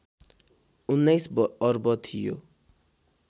१९ अर्ब थियो